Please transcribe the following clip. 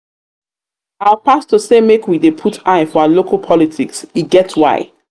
our pastor say make we dey put eye for our local politics e get why.